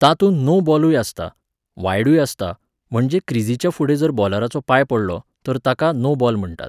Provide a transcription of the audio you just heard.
तातूंत नो बॉलूय आसता, वायडूय आसतां म्हणजे क्रिजीच्या फुडें जर बॉलराचो पांय पडलो तर ताका नो बॉल म्हणटात.